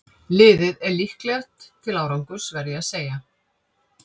Liðið er líklegt til árangurs verð ég að segja.